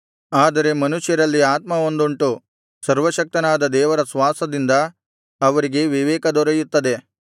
ಆದರೆ ಮನುಷ್ಯರಲ್ಲಿ ಆತ್ಮವೊಂದುಂಟು ಸರ್ವಶಕ್ತನಾದ ದೇವರ ಶ್ವಾಸದಿಂದ ಅವರಿಗೆ ವಿವೇಕ ದೊರೆಯುತ್ತದೆ